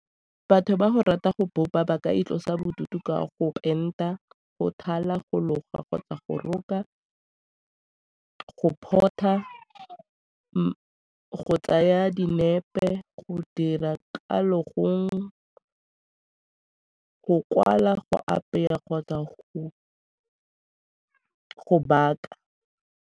Batho ba go rata go bopa ba ka itlosa bodutu ka go enta, go thala, go loga kgotsa go roka, go port-a, go tsaya dinepe, go dira ka logong, go kwala, go apeya kgotsa go baka.